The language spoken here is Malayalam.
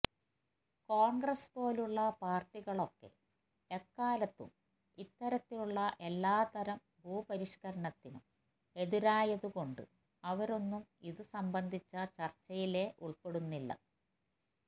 കോണ്ഗ്രസ് പോലുള്ള പാര്ട്ടികളൊക്കെ എക്കാലത്തും ഇത്തരത്തിലുള്ള എല്ലാത്തരം ഭൂപരിഷ്കരണത്തിനും എതിരായതുകൊണ്ട് അവരൊന്നും ഇത് സംബന്ധിച്ച ചര്ച്ചയിലേ ഉള്പ്പെടുന്നില്ല